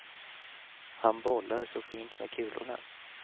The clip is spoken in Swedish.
Han bollar så fint med kulorna.